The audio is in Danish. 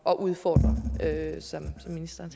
at udfordre som ministeren